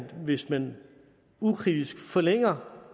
hvis man ukritisk forlænger